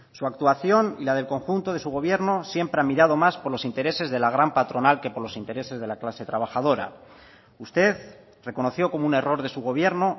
su actuación y la del conjunto de su gobierno siempre ha mirado más por los intereses de la gran patronal que por los intereses de la clase trabajadora usted reconoció como un error de su gobierno